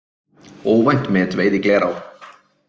Óvænt metveiði í Glerá